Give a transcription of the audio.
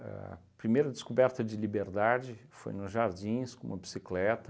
primeira descoberta de liberdade foi nos jardins, com uma bicicleta.